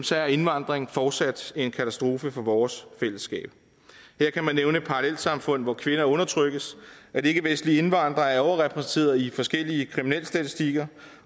så er indvandringen fortsat en katastrofe for vores fællesskab her kan man nævne parallelsamfund hvor kvinder undertrykkes at ikkevestlige indvandrere er overrepræsenteret i forskellige kriminalstatistikker